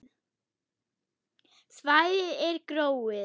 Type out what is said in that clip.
Svæðið er gróið.